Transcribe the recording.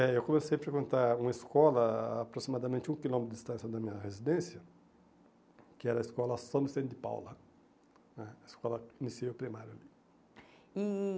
É, eu comecei a frequentar uma escola a aproximadamente um quilômetro de distância da minha residência, que era a escola São Vicente de Paula né, a escola de ensino primário ali. E